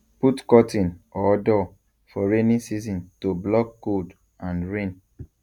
put curtain or door for rainy season to block cold and rain